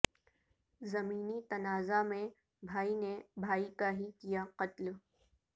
زمینی تنازع میں بھائی نے بھائی کا ہی کیا قتل